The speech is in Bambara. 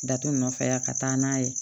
Datugu nɔfɛ yan ka taa n'a ye